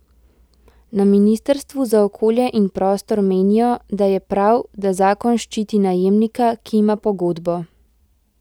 Na ministrstvu za okolje in prostor menijo, da je prav, da zakon ščiti najemnika, ki ima pogodbo.